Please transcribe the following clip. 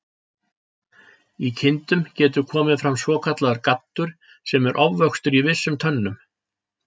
Í kindum getur komið fram svokallaður gaddur, sem er ofvöxtur í vissum tönnum.